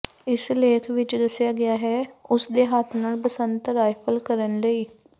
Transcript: ਇਸ ਲੇਖ ਵਿਚ ਦੱਸਿਆ ਗਿਆ ਹੈ ਉਸ ਦੇ ਹੱਥ ਨਾਲ ਬਸੰਤ ਰਾਈਫਲ ਕਰਨ ਲਈ